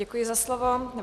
Děkuji za slovo.